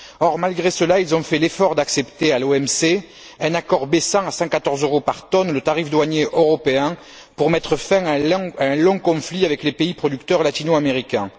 Or, malgré cela, ils ont fait l'effort d'accepter, à l'OMC, un accord baissant à 114 euros par tonne le tarif douanier européen pour mettre fin à un long conflit avec les pays producteurs latino américains.